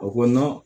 O ko